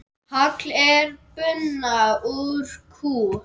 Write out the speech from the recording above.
Hagl er buna úr kú.